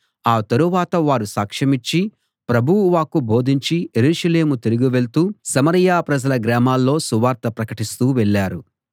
ఆ తరువాత వారు సాక్షమిచ్చి ప్రభువు వాక్కు బోధించి యెరూషలేము తిరిగి వెళ్తూ సమరయ ప్రజల గ్రామాల్లో సువార్త ప్రకటిస్తూ వెళ్ళారు